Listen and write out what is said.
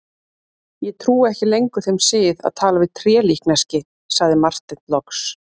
Ég trúi ekki lengur þeim sið að tala við trélíkneski, sagði Marteinn loks.